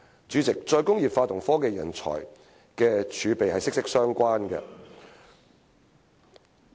主席，"再工業化"與科技人才的儲備息息相關。